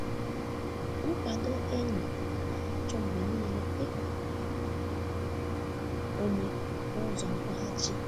Nkwado enyi anaghị achọ mgbe niile ikọrọ ahụmịhe onwe onye n’ụzọ nkwụghachi.